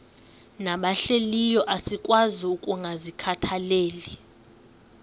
nabahlehliyo asikwazi ukungazikhathaieli